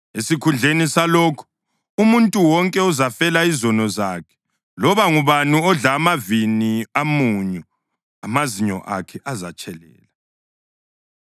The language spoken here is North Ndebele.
Esikhundleni salokho, umuntu wonke uzafela izono zakhe; loba ngubani odla amavini amunyu amazinyo akhe azatshelela.